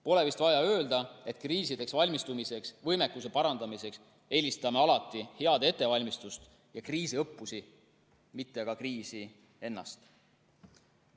Pole vist vaja öelda, et kriisideks valmistumise võimekuse parandamisel eelistame alati head ettevalmistust ja kriisiõppusi, mitte aga kriisi ennast.